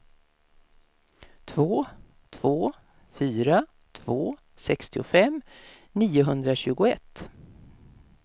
två två fyra två sextiofem niohundratjugoett